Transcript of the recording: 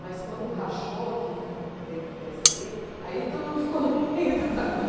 Mas, quando rachou, Uhum que teve o Pê éSse Dê Bê, aí todo mundo ficou no (ri ennquanto fala) meio do caminho.